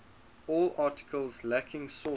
all articles lacking sources